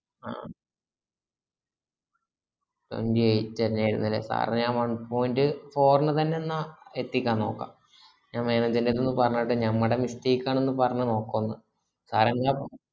ആഹ് twenty eight ന്നെയായിരുന്നല്ലേ sir ന് one point four ന് തന്നെന്നാ എത്തിക്കാനോക്കാ ഞാന് manager ന്റെട്ത്ത് പറഞ്ഞിട്ട് ഞമ്മടെ mistake ആണന്ന് പറഞ്നോക്കൊന്ന് sir എന്നാ